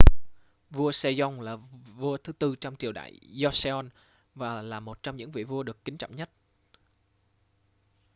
vua sejong là vua thứ tư trong triều đại joseon và là một trong những vị vua được kính trọng nhất